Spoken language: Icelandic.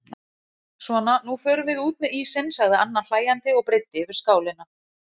Svona nú förum við út með ísinn sagði Anna hlæjandi og breiddi yfir skálina.